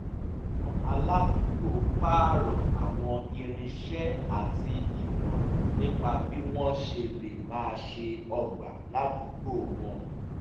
àwọn aládùúgbò pààrọ̀ àwọn irinṣẹ́ àti ìmọ̀ràn nípa bí wọ́n ṣe lè máa ṣe ọgbà ládùúgbò wọn